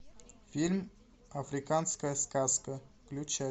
фильм африканская сказка включай